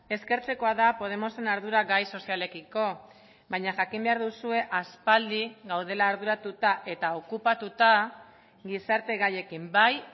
eskertzekoa da podemosen ardura gai sozialekiko baina jakin behar duzue aspaldi gaudela arduratuta eta okupatuta gizarte gaiekin bai